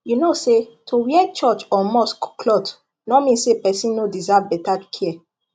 you know say to wear church or mosque cloth no mean say person no deserve better care